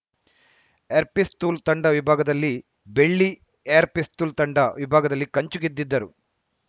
air pistol ತಂಡ ವಿಭಾಗದಲ್ಲಿ ಬೆಳ್ಳಿ ಏರ್‌ ಪಿಸ್ತೂಲ್‌ ತಂಡ ವಿಭಾಗದಲ್ಲಿ ಕಂಚು ಗೆದ್ದಿದ್ದರು